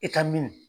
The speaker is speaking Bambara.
I ka mi